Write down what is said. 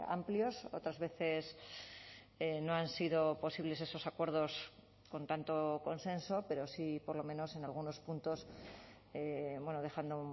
amplios otras veces no han sido posibles esos acuerdos con tanto consenso pero sí por lo menos en algunos puntos dejando